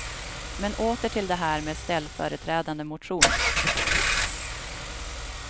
Men åter till det här med ställföreträdande motion.